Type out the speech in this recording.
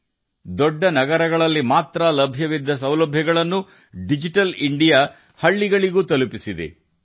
ಒಂದು ಕಾಲದಲ್ಲಿ ದೊಡ್ಡ ನಗರಗಳಲ್ಲಿ ಮಾತ್ರ ಲಭ್ಯವಿದ್ದ ಸೌಲಭ್ಯಗಳನ್ನು ಡಿಜಿಟಲ್ ಇಂಡಿಯಾದ ಮೂಲಕ ಪ್ರತಿ ಹಳ್ಳಿಗೂ ತರಲಾಗಿದೆ